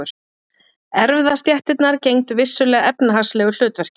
Erfðastéttirnar gegndu vissulega efnahagslegu hlutverki.